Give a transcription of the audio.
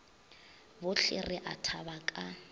bohle re a thaba ka